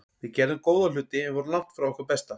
Við gerðum góða hluti en vorum langt frá okkar besta.